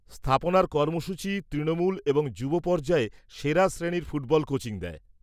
স্থাপনার কর্মসূচী তৃণমূল এবং যুব পর্যায়ে সেরা শ্রেণীর ফুটবল কোচিং দেয়।